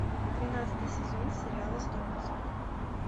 тринадцатый сезон сериала сто пятьсот